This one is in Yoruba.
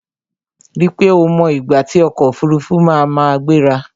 Ri pé o mọ ìgbà tí ọkò òfurufú na ma gbéra!